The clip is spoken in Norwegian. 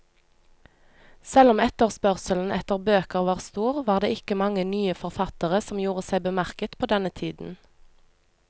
Selv om etterspørselen etter bøker var stor, var det ikke mange nye forfattere som gjorde seg bemerket på denne tiden.